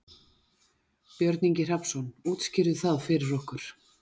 Björn Ingi Hrafnsson: Útskýrðu það fyrir okkur?